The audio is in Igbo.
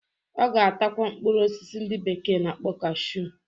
Ọ ga-atakwa mkpụrụ osisi ndị bekee na-akpọ cashu